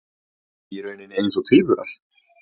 Í rauninni eins og tvíburar.